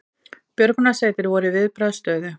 Björgunarsveitir voru í viðbragðsstöðu